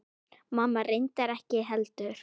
Mamma reyndar ekki heldur.